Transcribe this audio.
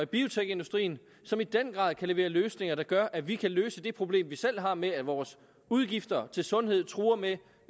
biotekindustrien som i den grad kan levere løsninger der gør at vi kan løse det problem som vi selv har med at vores udgifter til sundhed truer med